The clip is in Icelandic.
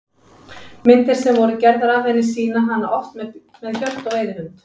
Myndir sem voru gerðar af henni sýna hana oft með hjört og veiðihund.